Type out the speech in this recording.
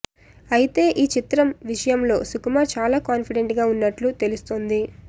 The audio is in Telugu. అయితే ఈ చిత్రం విషయం లో సుకుమార్ చాల కాన్ఫిడెంట్ గా ఉన్నట్లు తెలుస్తుంది